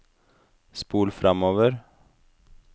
spol framover